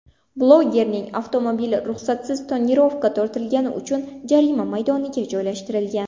Blogerning avtomobili ruxsatsiz tonirovka tortilgani uchun jarima maydoniga joylashtirilgan.